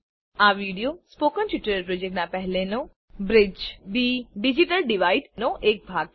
આ video spoken tutorial પ્રોજેક્ટનાં પહેલનો બ્રીજ ધ ડીજીટલ ડીવાઈડ નો એક ભાગ છે